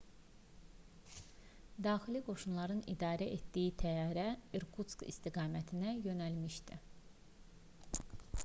daxili qoşunların idarə etdiyi təyyarə i̇rkutsk istiqamətində yönəlmişdi